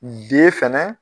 D fɛnɛ